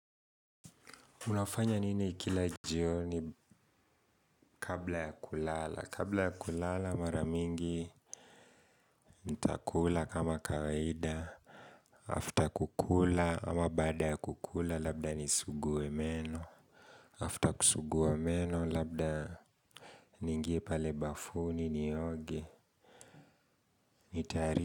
Mnafanya nini kila jioni kabla ya kulala. Kabla ya kulala maramingi ntakula kama kawaida. After kukula ama baada ya kukula labda nisugue meno. After kusugua meno labda niingie pale bafuni nioge. Nitari.